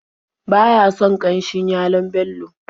Ba ya son ƙanshin yalon Bello.